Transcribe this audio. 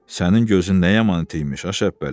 Sənin gözün nə yaman iti imiş, a Şəbpəli.